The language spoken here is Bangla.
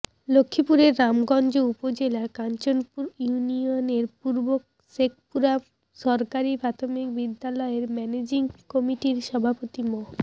লক্ষ্মীপুরের রামগঞ্জ উপজেলার কাঞ্চনপুর ইউনিয়নের পূর্ব শেখপুরা সরকারি প্রাথমিক বিদ্যালয়ের ম্যানেজিং কমিটির সভাপতি মো